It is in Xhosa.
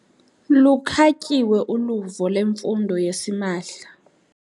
Lukhatyiwe uluvo lwemfundo yasimahla.